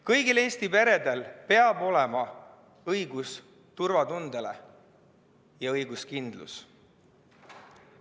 Kõigil Eesti peredel peab olema õigus turvatundele ja õiguskindlus.